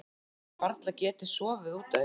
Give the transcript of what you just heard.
Hafi varla getað sofið út af því.